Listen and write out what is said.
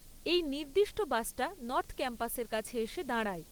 এই নির্দিষ্ট বাসটা নর্থ ক্যাম্পাসের কাছে এসে দাঁড়ায়।